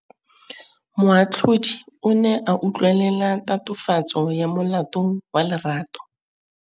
Moatlhodi o ne a utlwelela tatofatsô ya molato wa Lerato.